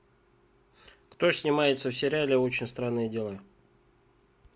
кто снимается в сериале очень странные дела